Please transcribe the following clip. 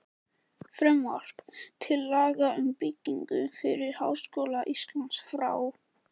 Frumvarp til laga um byggingu fyrir Háskóla Íslands, frá